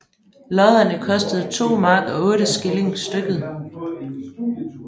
Lodderne kostede 2 mark og 8 skilling stykket